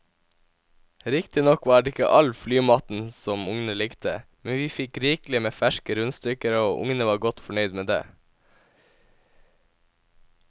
Riktignok var det ikke all flymaten som ungene likte, men vi fikk rikelig med ferske rundstykker og ungene var godt fornøyd med det.